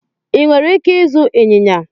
Ị nwere ike ịzụ ịnyịnya